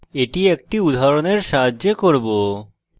এটি একটি উদাহরণের সাহায্যে করব